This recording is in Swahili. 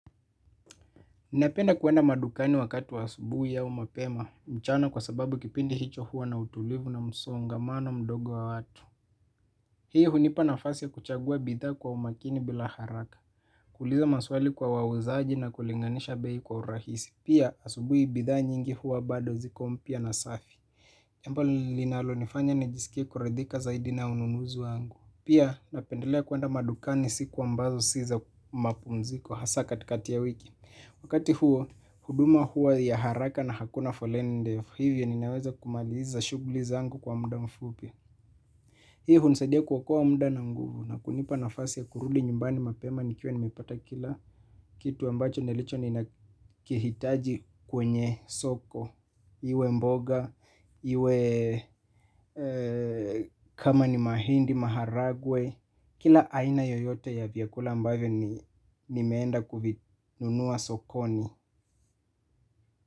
Napenda kuenda madukani wakati wa asubuhi au mapema, mchana kwa sababu kipindi hicho hua na utulivu na msongamano mdogo wa watu. Hii hunipa nafasi ya kuchagua bidhaa kwa umakini bila haraka, kuuliza maswali kwa wauzaji na kulinganisha bei kwa urahisi. Pia asubuhi bidhaa nyingi hua bado ziko mpya na safi. Jambo linalonifanya nijisikie kuridhika zaidi na ununuzi wangu. Pia napendelea kuenda madukani siku ambazo si za mapumziko hasaa katikati ya wiki. Wakati huo, huduma huwa ya haraka na hakuna foleni ndefu, hivyo ninaweza kumaliza shughuli zangu kwa muda mfupi. Hii hunisadia kuokoa muda na nguvu na kunipa nafasi ya kurudi nyumbani mapema nikiwa nimepata kila kitu ambacho nilicho ninakihitaji kwenye soko. Iwe mboga, iwe kama ni mahindi, maharagwe kila aina yoyote ya vyakula ambavyo nimeenda kuvinunua sokoni.